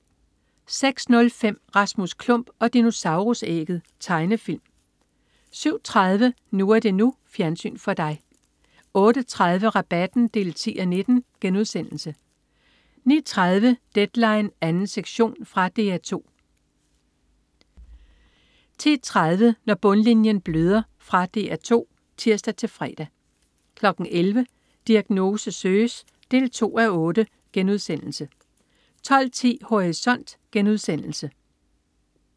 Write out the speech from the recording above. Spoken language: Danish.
06.05 Rasmus Klump og dinosaurus-ægget. Tegnefilm 07.30 NU er det NU. Fjernsyn for dig 08.30 Rabatten 10:19* 09.30 Deadline 2. sektion. Fra DR 2 10.30 Når bundlinjen bløder. Fra DR 2 (tirs-fre) 11.00 Diagnose søges 2:8* 12.10 Horisont*